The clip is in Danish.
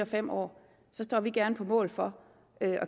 fem år så står vi gerne på mål for at